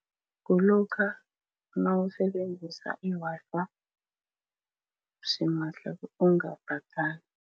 Kulokha nawusebenzisa i-Wi-Fi simahla ungabhadali.